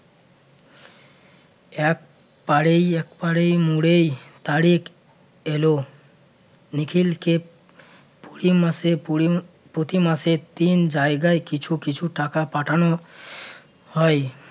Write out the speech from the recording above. একপাড়েই~ একপাড়েই মরেই তারেক এল নিখিলকে পরি মাসে পরি~ প্রতি মাসে তিন জায়গায় কিছু কিছু টাকা পাঠানো হয়